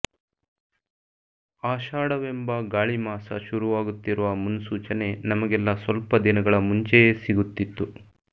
ಆಷಾಢವೆಂಬ ಗಾಳಿಮಾಸ ಶುರುವಾಗುತ್ತಿರುವ ಮುನ್ಸೂಚನೆ ನಮಗೆಲ್ಲಾ ಸ್ವಲ್ಪ ದಿನಗಳ ಮುಂಚೆಯೇ ಸಿಗುತ್ತಿತ್ತು